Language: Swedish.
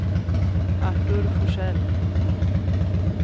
Artur Forsell